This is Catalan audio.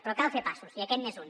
però cal fer passos i aquest n’és un